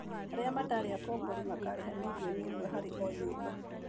Arĩa matarĩ akombori makarĩha mirioni ĩmwe harĩ o nyũmba